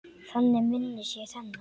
Þannig minnist ég hennar.